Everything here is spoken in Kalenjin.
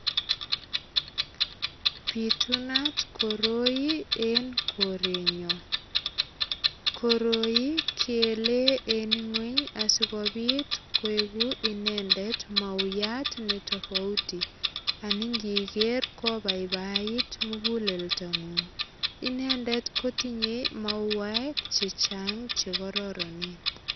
Pitunat koroi en korenyo. Koroi keele en ingwony asigopit koegu inendet mauyat ne tofauti. Ani ngiger kobaibait muguleldangung. Inendet kotinyei mauwek che chang che kororonen.